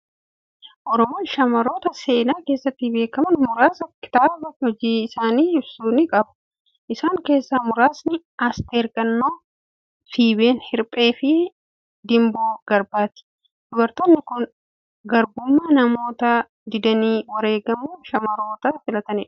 Oromoon shamarroota seenaa keessatti beekaman muraasa kitaaba hojii isaanii ibsu ni qaba. Isaan keessaa muraasni: Aasteer Gannoo, Feeben Hirphee fi Dimboo Garbaati. Dubartoonni kun garbummaa namoota didanii wareegamuu shamarroota filatanidha.